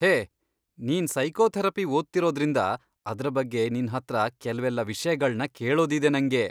ಹೇ, ನೀನ್ ಸೈಕೋಥೆರಪಿ ಓದ್ತಿರೋದ್ರಿಂದ ಅದ್ರ ಬಗ್ಗೆ ನಿನ್ಹತ್ರ ಕೆಲ್ವೆಲ್ಲ ವಿಷ್ಯಗಳ್ನ ಕೇಳೋದಿದೆ ನಂಗೆ.